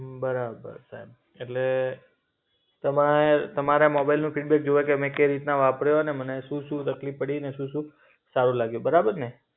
હમ બરાબર સાહેબ. એટલે તમે તમારે મોબાઈલનું ફિડબેક જોઈએ કે મેં કેવી રીતે વાપર્યો ને મને શું શું તકલીફ પડી ને શું શું સારું લાગ્યું? બરાબર ને?